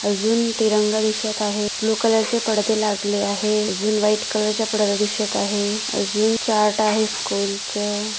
अजू तिरंगा दिसत आहे ब्लू कलर चे पडदे लावले आहैत जी व्हाइट कलर च्या पडद्याला दिसत आहे अजून चार्ट आहे स्कूल चा--